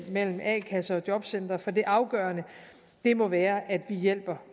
mellem a kasser og jobcentre for det afgørende må være at vi hjælper